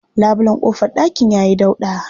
Labulen ƙofar ɗakin ya yi dauɗa.